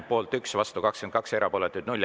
Poolt 1, vastu 22, erapooletuid 0.